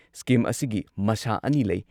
Scheme ꯑꯁꯤꯒꯤ ꯃꯁꯥ ꯑꯅꯤ ꯂꯩ ꯫